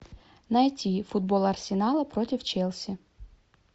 найти футбол арсенала против челси